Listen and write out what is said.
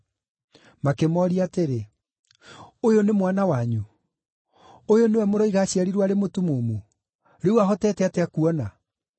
Makĩmooria atĩrĩ, “Ũyũ nĩ mwana wanyu? Ũyũ nĩwe mũroiga aaciarirwo arĩ mũtumumu? Rĩu ahotete atĩa kuona?”